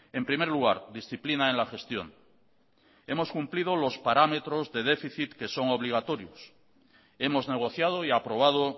en primer lugar disciplina en la gestión hemos cumplido los parámetros de déficit que son obligatorios hemos negociado y aprobado